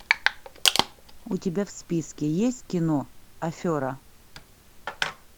у тебя в списке есть кино афера